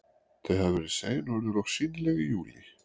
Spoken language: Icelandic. Þau hafa verið sein og urðu loks sýnileg í júlí.